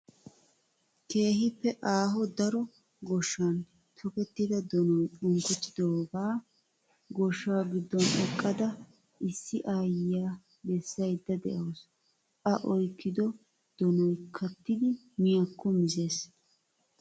Keehippe aaho daro goshshan tokettida donoyi unkkotidaaga goshshaa gidduwan eqqada issi aayyiyaa bessayidda de'awusu. A oyikkido donoyi kattidi miyaakko mizes.